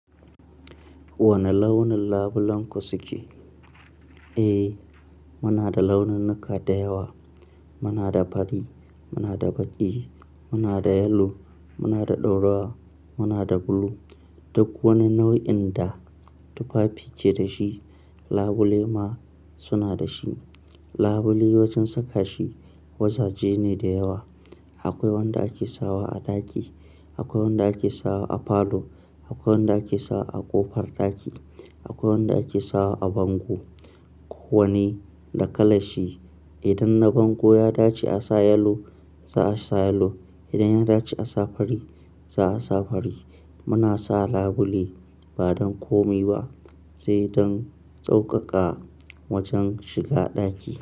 Wane launin labulenku suke? Eh, muna da laununuka da yawa. Muna da fari, muna da baƙi, muna da yelo, muna da ɗaurua, muna da bulu. Duk wani nau'in da tufafi ke da shi labule ma suna da shi. Labule wajan saka shi wazaje ne da yawa. Akwai wanda ake sawa a ɗaki, akwai wanda ake sawa a falo, akwai wanda ake sawa a ƙofar ɗaki, akwai wanda ake sawa a bango. Ko wane da kalan shi. Idan na bango ya dace a sa yelo za a sa yelo. Idan ya dace a sa fari za a sa fari. Muna sa labule ba don komai ba sai don tsokaka wajan shiga ɗaki.